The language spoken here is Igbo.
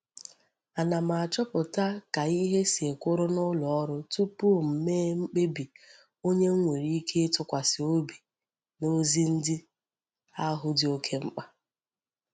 Ana m achoputa kaihe si kwuru n'uloru tupu m mee mkpebi onye m nwere ike itukwsi obi n'ozi ndi ahu di oke mkpa.